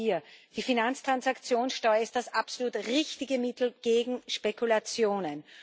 Und auch hier Die Finanztransaktionssteuer ist das absolut richtige Mittel gegen Spekulationen.